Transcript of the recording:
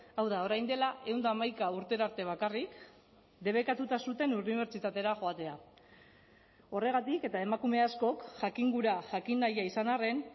hau da orain dela ehun eta hamaika urtera arte bakarrik debekatuta zuten unibertsitatera joatea horregatik eta emakume askok jakingura jakin nahia izan arren